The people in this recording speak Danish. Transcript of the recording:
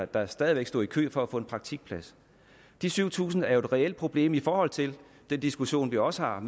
der stadig væk stod i kø for at få en praktikplads de syv tusind er jo et reelt problem i forhold til den diskussion vi også har om